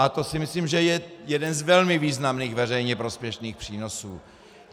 A to si myslím, že je jeden z velmi významných veřejně prospěšných přínosů.